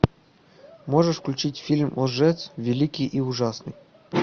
можешь включить фильм лжец великий и ужасный